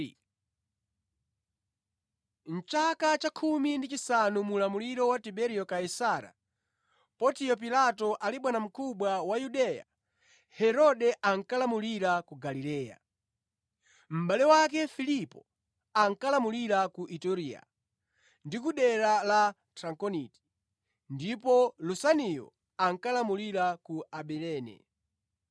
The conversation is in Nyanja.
Mʼchaka cha 15 mu ulamuliro wa Tiberiyo Kaisara, Pontiyo Pilato ali bwanamkubwa wa Yudeya, Herode ankalamulira ku Galileya, mʼbale wake Filipo ankalamulira ku Iturea ndi ku dera la Trakoniti, ndipo Lusaniyo ankalamulira ku Abilene.